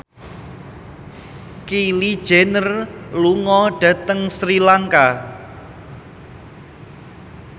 Kylie Jenner lunga dhateng Sri Lanka